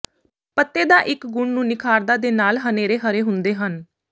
ਪੱਤੇ ਦਾ ਇੱਕ ਗੁਣ ਨੂੰ ਨਿਖਾਰਦਾ ਦੇ ਨਾਲ ਹਨੇਰੇ ਹਰੇ ਹੁੰਦੇ ਹਨ